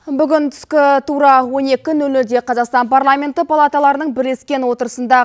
бүгін түскі тура он екі нөл нөлде қазақстан парламенті палаталарының бірлескен отырысында